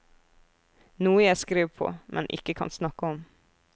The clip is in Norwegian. Noe jeg skriver på, men ikke kan snakke om.